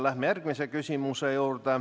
Läheme järgmise küsimuse juurde.